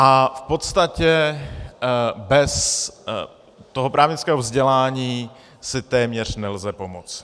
A v podstatě bez toho právnického vzdělání si téměř nelze pomoct.